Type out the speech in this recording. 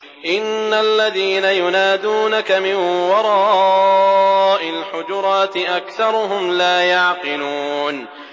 إِنَّ الَّذِينَ يُنَادُونَكَ مِن وَرَاءِ الْحُجُرَاتِ أَكْثَرُهُمْ لَا يَعْقِلُونَ